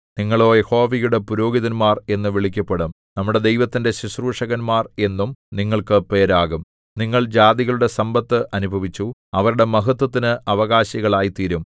നിങ്ങളോ യഹോവയുടെ പുരോഹിതന്മാർ എന്നു വിളിക്കപ്പെടും നമ്മുടെ ദൈവത്തിന്റെ ശുശ്രൂഷകന്മാർ എന്നും നിങ്ങൾക്ക് പേരാകും നിങ്ങൾ ജാതികളുടെ സമ്പത്ത് അനുഭവിച്ചു അവരുടെ മഹത്ത്വത്തിനു അവകാശികൾ ആയിത്തീരും